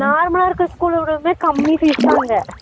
normal ஆ இருக்குற school ஓடமே கம்மி fees தான் அங்க